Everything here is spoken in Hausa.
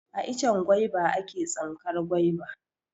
A icen gwaiba a ke tsinkar gwaiba.